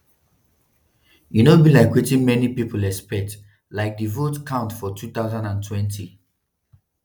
e no be like wetin many pipo expect like di vote count for 2020.